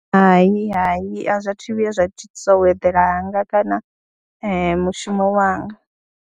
Hai, hai, a zwa thu vhuya zwa thithisa u eḓela hanga kana mushumo wanga.